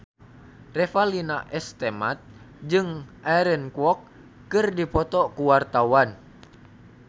Revalina S. Temat jeung Aaron Kwok keur dipoto ku wartawan